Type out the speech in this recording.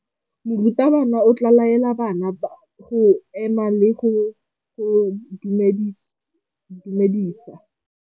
Morutabana o tla laela bana go ema le go go dumedisa.